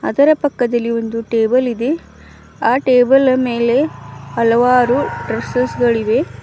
ಅದರ ಪಕ್ಕದಲ್ಲಿ ಒಂದು ಟೇಬಲ್ ಇದೆ ಆ ಟೇಬಲ್ ನ ಮೇಲೆ ಹಲವಾರು ಡ್ರೆಸ್ಸೆಸ್ ಗಳಿವೆ.